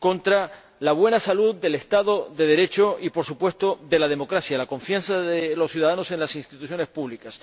contra la buena salud del Estado de Derecho y, por supuesto, de la democracia y la confianza de los ciudadanos en las instituciones públicas.